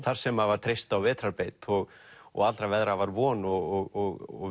þar sem var treyst á vetrarbeit og og allra veðra var von og